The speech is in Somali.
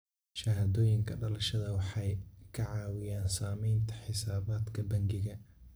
Shahaadooyinka dhalashada waxay ka caawiyaan samaynta xisaabaadka bangiga.